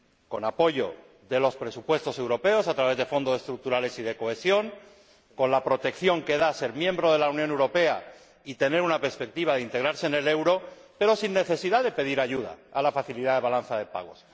con apoyo de los presupuestos europeos, a través de Fondos Estructurales y de Cohesión, con la protección que da ser miembro de la Unión Europea y tener una perspectiva de integrarse en el euro, pero sin necesidad de pedir ayuda a la facilidad de la balanza de pagos.